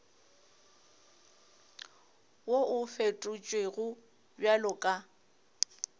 wo o fetotšwego bjalo ka